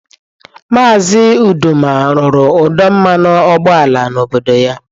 Maazị Uduma rụrụ ọdụ mmanụ ụgbọala n'obodo ya